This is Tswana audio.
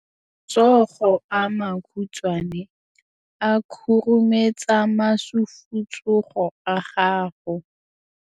Matsogo a makhutshwane a khurumetsa masufutsogo a gago.